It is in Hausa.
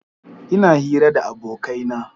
Ina hira da abokaina.